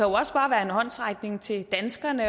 også bare være en håndsrækning til danskerne